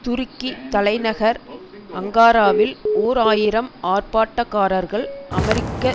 துருக்கி தலைநகர் அங்காரவில் ஓர் ஆயிரம் ஆர்ப்பாட்டக்காரர்கள் அமெரிக்க